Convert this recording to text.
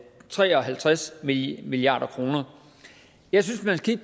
tre og halvtreds milliard kroner jeg synes at man skal